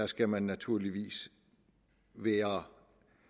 skal man naturligvis være